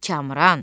Kamran!